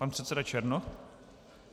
Pan předseda Černoch.